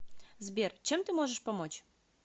сбер чем ты можешь помочь